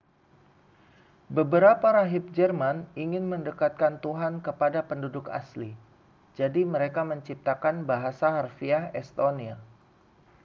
beberapa rahib jerman ingin mendekatkan tuhan kepada penduduk asli jadi mereka menciptakan bahasa harfiah estonia